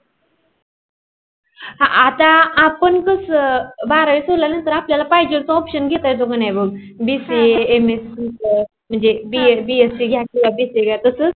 क बारावी सोडल्या नंतर आपल्याला पाहिजे तो option घेत येत की नाही बघ bca अह मंजे mscbsc जास्तीला briefing तस